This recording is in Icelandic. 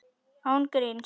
Án gríns.